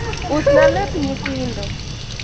usna lep nyithindo